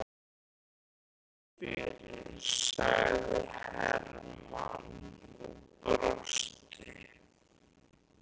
Þakka þér fyrir, sagði Hermann og brosti.